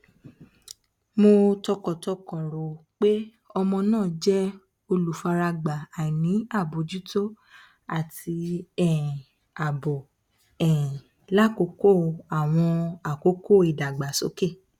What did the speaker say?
mo tọkàntọkàn ro pe ọmọ naa jẹ olufaragba aini abojuto ati um aabo um lakoko awọn akoko idagbasoke